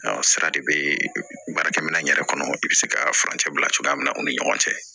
Sara de be baarakɛ minɛn yɛrɛ kɔnɔ i be se ka furancɛ bila cogoya min na u ni ɲɔgɔn cɛ